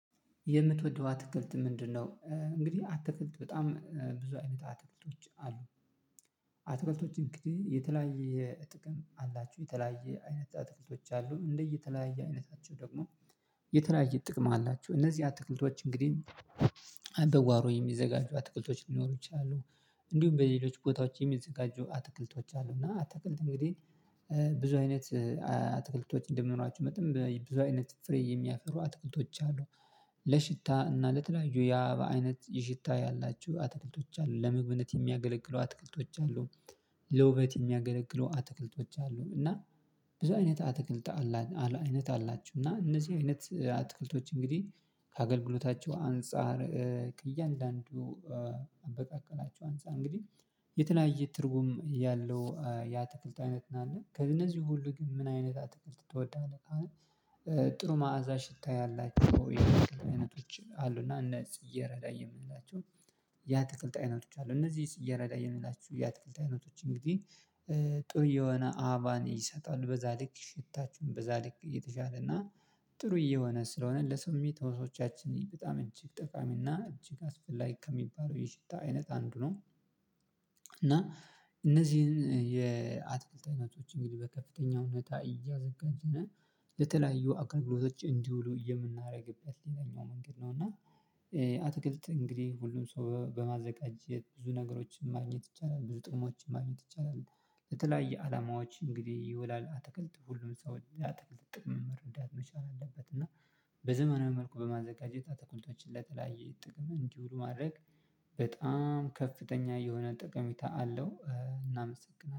የምትወደው አትክልት ምንድነው? እንግዲህ አትክልት በጣም ብዙ አይነት አትክልቶች አሉ። አትክልቶች እንግዲህ የተለያየ ጥቅም አላቸው የተለያዩ አይነት አትክልቶች አሉ እንደ የተለያየ አይነታቸው ደግሞ። የተለያየ ጥቅም አላቸው እነዚህ አትክልቶች እንግዲህ አሁን በጓሮ የሚዘጋጁ አትክልቶች ሊኖሩ ይችላሉ። እንዲሁም በሌሎች ቦታዎች የሚዘጋጁ አትክልቶች አሉ። እና አትክልት እንግዲህ ብዙ አይነት አትክልቶች እንደመኖራቸው መጠን ብዙ አይነት ፍሬ የሚያፈሩ አትክልቶች አሉ። ለሽታ እና ለተለያዩ የአባበ አይነት የሽታ ያላቸው አትክልቶች አሉ ለመግብነት የሚያገለግሉ አትክልቶች አሉ። ለውበት የሚያገለግሉ አትክልቶች አሉ እና ብዙ አይነት አትክልት አይነት አላቸው። እና እነዚህ አይነት አትክልቶች እንግዲህ ከአገልግሎታቸው አንፃር ከእያንዳንዱ አንፃር እንግዲህ የተለያየ ትርጉም ያለው የአትክልት አይነት ነው ያለው ከእነዚህ ሁሉ ግን ምን አይነት አትክልት ትወዳለህ? ጥሩ መዓዛ ሽታ ያላቸው አይነቶች አሉና እነዚህ ፅጌሬዳ የምንላቸው። የአትክልት አይነቶች አሉ እነዚህ ፅጌሬዳ የምንላቸው የአትክልት አይነቶች እንግዲህ። ጥሩ እየሆነ አበባን ይሰጣሉ በዛ ልክ ሽታቸው በዛ ልክ እየተሻለ እና ጥሩ እየሆነ ስለሆነ ለስሜት ህዋሶቻችን በጣም እጅግ ጠቃሚ እና እጅግ አስፈላጊ ከሚባለው ይህ ሽታ አይነት አንዱ ነው። እና እነዚህን የአትክልት አይነቶች እንግዲህ በከፍተኛ ሁኔታ እያዘጋጀን ለተለያዩ አገልግሎቶች እንዲውሉ የምናደርግበት ሌላኛው መንገድ ነው። እና አትክልት እንግዲህ ሁሉም ሰው በማዘጋጀት ብዙ ነገሮችን ማግኘት ይቻላል ብዙ ጥቅሞችን ማግኘት ይቻላል። ለተለያየ አላማዎች እንግዲህ ይውላል አትክልት ሁሉም ሰው የአትክልትን ጥቅም መረዳት መቻል አለበት። እና በዘመናዊ መልኩ በማዘጋጀት አትክልቶችን ለተለያየ ጥቅም እንዲውሉ ማድረግ በጣም ከፍተኛ የሆነ ጠቀሜታ አለው። እናመሰግናለን